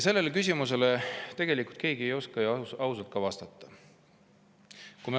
Sellele küsimusele ei oska keegi ausalt vastata.